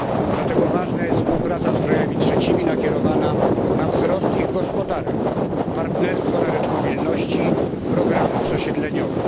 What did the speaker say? Dlatego ważna jest współpraca z krajami trzecimi nakierowana na wzrost ich gospodarek, partnerstwo na rzecz mobilności, programy przesiedleniowe.